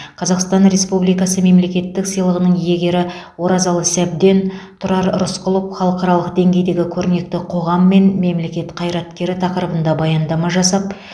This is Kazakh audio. қазақстан ресупбликасы мемлекеттік сыйлығының иегері оразалы сәбден тұрар рысқұлов халықаралық деңгейдегі көрнекті қоғам мен мемлекет қайраткері тақырыбында баяндама жасап